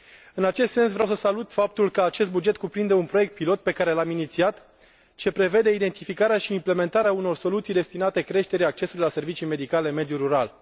În acest sens, vreau să salut faptul că acest buget cuprinde un proiect pilot pe care l am inițiat, ce prevede identificarea și implementarea unor soluții destinate creșterii accesului la servicii medicale în mediul rural.